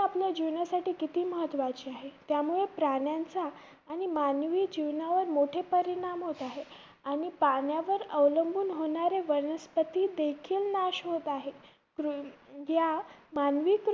आपल्या जीवनासाठी किती महत्वाचे आहे. त्यामुळे प्राण्यांचा आणि मानवी जीवनावर मोठे परिणाम होत आहे. आणि पाण्यावर अवलंबून होणारे वनस्पती देखील नाश होत आहे. रु~या